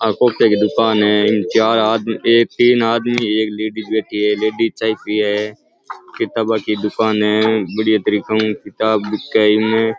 आ कोपिया की दुकान है इन चार आदमी तीन आदमी एक लेडिस बैठी है लेडिस चाय पी री है किताबो की दुकान है बढ़िया तरीके की किताब बिके इन्हे।